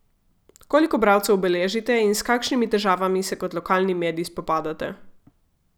Koliko bralcev beležite in s kakšnimi težavami se kot lokalni medij spopadate?